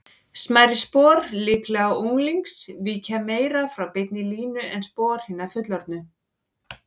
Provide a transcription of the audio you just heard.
Smærri spor, líklega unglings, víkja meira frá beinni línu en spor hinna fullorðnu.